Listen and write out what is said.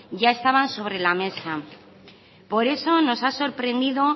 ya estaban sobre la mesa por eso nos ha sorprendido